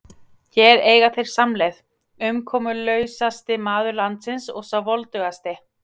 Hér eiga þeir samleið, umkomulausasti maður landsins og sá voldugasti.